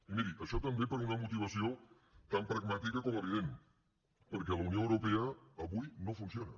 i miri això també per una motivació tan pragmàtica com evident perquè la unió europea avui no funciona